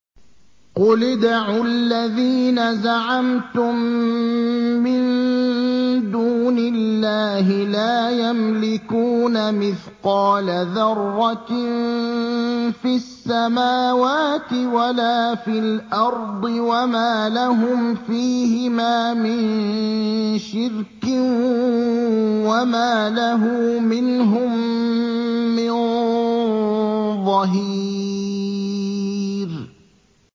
قُلِ ادْعُوا الَّذِينَ زَعَمْتُم مِّن دُونِ اللَّهِ ۖ لَا يَمْلِكُونَ مِثْقَالَ ذَرَّةٍ فِي السَّمَاوَاتِ وَلَا فِي الْأَرْضِ وَمَا لَهُمْ فِيهِمَا مِن شِرْكٍ وَمَا لَهُ مِنْهُم مِّن ظَهِيرٍ